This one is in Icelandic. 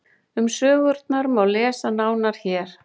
Um sögurnar má lesa nánar hér.